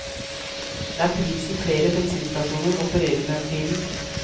Det er prisen flere bensinstasjoner opererer med for tiden.